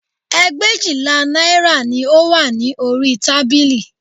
Ẹgbẹ̀éjìlá náírà ni ó wà ní orí tábìlì